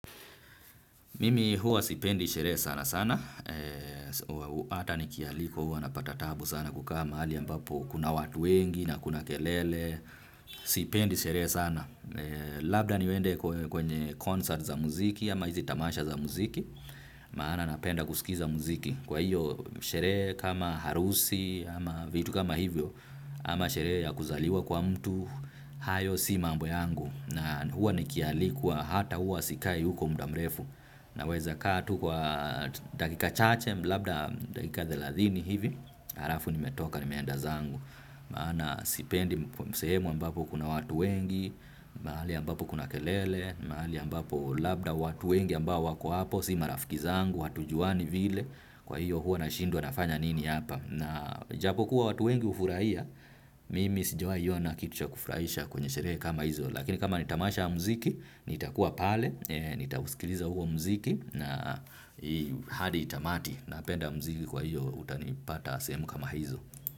Mimi huwa sipendi sherehe sana sana, hata nikialikwa huwa napata tabu sana kukaa mahali ambapo kuna watu wengi na kuna kelele, sipendi sherehe sana. Labda niwende kwenye concert za muziki ama hizi tamasha za muziki, maana napenda kusikiza muziki. Kwa hiyo sherehe kama harusi ama vitu kama hivyo ama sherehe ya kuzaliwa kwa mtu, hayo si mambo yangu na huwa nikialikwa hata huwa sikai huko muda mrefu. Naweza kaa tu kwa dakika chache, labda dakika thelathini hivi, halafu nimetoka, nimeenda zangu. Maana sipendi sehemu ambapo kuna watu wengi, mahali ambapo kuna kelele, mahali ambapo labda watu wengi ambao wako hapo si marafiki zangu, hatujuani vile, kwa hiyo huo nashindwa nafanya nini hapa. Na japokuwa watu wengi hufurahia, mimi sijawahi ona kitu cha kufurahisha kwenye sherehe kama hizo. Lakini kama ni tamasha la mziki nitakuwa pale, nitausikiliza huo mziki hadi tamati napenda mziki kwahiyo utanipata sehemu kama hizo.